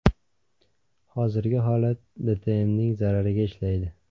Hozirgi holat DTMning zarariga ishlaydi.